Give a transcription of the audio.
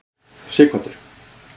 Sighvatur